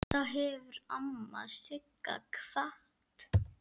Þá hefur amma Sigga kvatt.